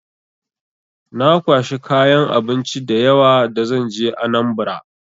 Na kwashi kayan abinci da yawa da zan je Anambra.